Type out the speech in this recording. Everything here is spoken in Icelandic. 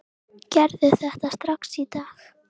Gerðu þetta strax í dag!